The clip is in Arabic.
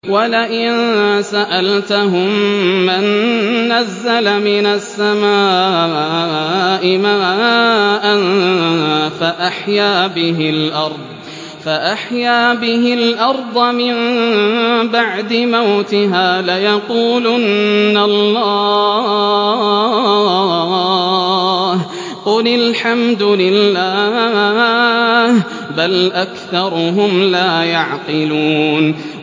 وَلَئِن سَأَلْتَهُم مَّن نَّزَّلَ مِنَ السَّمَاءِ مَاءً فَأَحْيَا بِهِ الْأَرْضَ مِن بَعْدِ مَوْتِهَا لَيَقُولُنَّ اللَّهُ ۚ قُلِ الْحَمْدُ لِلَّهِ ۚ بَلْ أَكْثَرُهُمْ لَا يَعْقِلُونَ